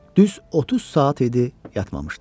Düz 30 saat idi yatmamışdı.